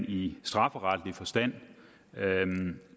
i strafferetlig forstand